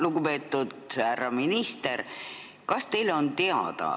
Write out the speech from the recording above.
Lugupeetud härra minister!